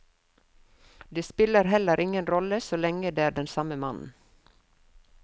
Det spiller heller ingen rolle så lenge det er den samme mannen.